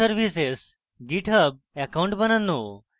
github account বানানো